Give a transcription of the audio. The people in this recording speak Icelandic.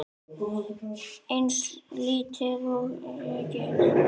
Eins lítil og ég get.